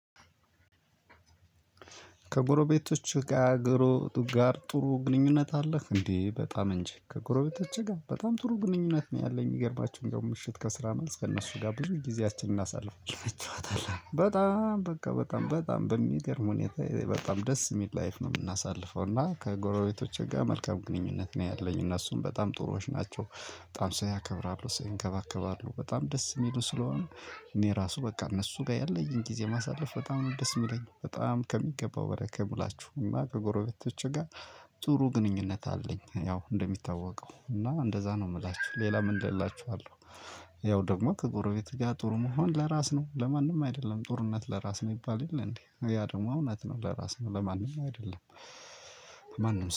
ከጎረቤቶች ጋር ጥሩ ጥሩ ግንኙነት አለህ? እንዴ! በጣም እንጂ። ከጎረቤቶቼ ጋር በጣም ጥሩ ግንኙነት ነው ያለኝ። የሚገርማችሁ እንደውም ምሽት ከስራ መልስ ከእነሱ ጋር ብዙ ጊዜያችንን እናሳልፋለን። በጣም በቃ በጣም በጣም በሚገርም ሁኔታ በጣም ደስ የሚል ላይፍ ነው የምናሳልፈው እና ከጎረቤቶቼ ጋር መልካም ግንኙነት ነው ያለኝ። እነሱም በጣም ጥሩዎች ናቸው። በጣም ሰው ያከብራሉ ሰው ይንከባከባሉ በጣም ደስ የሚሉ ስለሆኑ እኔ ራሱ በቃ እነሱ ጋር ያለኝን ጊዜ ማሳለፍ በጣም ደስ የሚለኝ። በጣም ከሚገባው በላይ ከምላችሁ እና ከጎረቤቶቼ ጋር ጥሩ ግንኙነት አለኝ ያው እንደሚታወቀው እና እንደዛ ነው የምላችሁ ሌላ ምን እላችኋለሁ። ያው ደግሞ ከጎረቤት ጋር ጥሩ መሆን ለራስ ነው። ለማንም አይደለም። ጥሩነት ለራስ ነው ይባል የለም እንዴ? ያ ደግሞ እውነት ነው ለራስህ ነው ለማንም አይደለም። ማንም